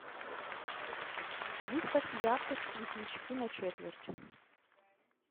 выставь яркость светлячки на четверть